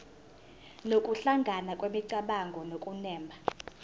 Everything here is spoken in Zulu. nokuhlangana kwemicabango nokunemba